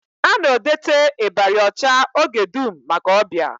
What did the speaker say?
A na-edote ịbarị ọcha oge dum maka ọbịa